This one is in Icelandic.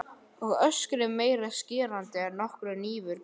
Og öskrið meira skerandi en nokkur hnífur getur bitið.